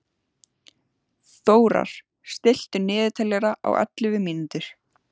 Þórar, stilltu niðurteljara á ellefu mínútur.